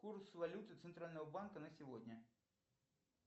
курс валюты центрального банка на сегодня